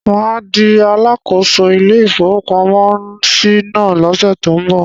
Mà á di alákòóso ilé-ìfowópamọ́sí náà lọ́sẹ̀ tó ń bọ̀.